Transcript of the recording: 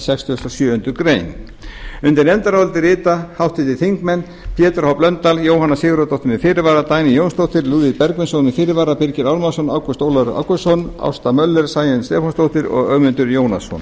sextugustu og sjöundu greinar undir nefndarálitið rita háttvirtir þingmenn pétur h blöndal jóhanna sigurðardóttir með fyrirvara dagný jónsdóttir lúðvík bergvinsson með fyrirvara birgir ármannsson ágúst ólafur ágústsson ásta möller sæunn stefánsdóttir og ögmundur jónasson